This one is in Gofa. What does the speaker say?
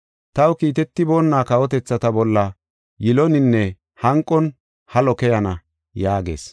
Taw kiitetiboonna kawotethata bolla yiloninne hanqon halo keyana” yaagees.